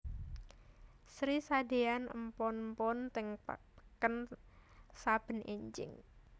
Sri sadeyan empon empon teng peken saben enjing